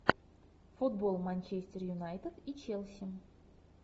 футбол манчестер юнайтед и челси